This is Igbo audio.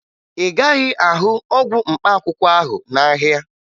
Ị gaghị ahụ ọgwụ mkpaakwụkwọ ahụ n'ahịa